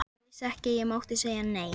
Ég vissi ekki að ég mátti segja nei.